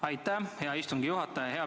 Aitäh, hea istungi juhataja!